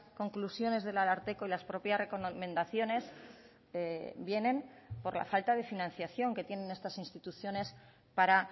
conclusiones del ararteko y las propias recomendaciones vienen por la falta de financiación que tienen estas instituciones para